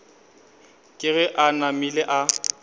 ke ge a namile a